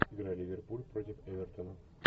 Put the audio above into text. игра ливерпуль против эвертона